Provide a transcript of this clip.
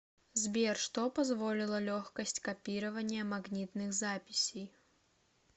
сбер что позволила легкость копирования магнитных записей